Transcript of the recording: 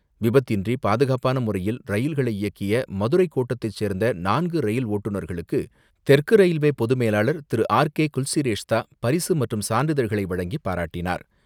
விபத்தின்றி பாதுகாப்பான முறையில் ரயில்களை இயக்கிய மதுரை கோட்டத்தைச் சேர்ந்த நான்கு ரயில் ஓட்டுநர்களுக்கு தெற்கு ரயில்வே பொது மேலாளர் திரு ஆர் கே குல்சிரேஷ்த்தா பரிசு மற்றும் சான்றிதழ்களை வழங்கிப் பாராட்டினார்.